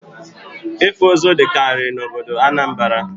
Ịkpụ ụzụ dịkarị n'obodo Anambra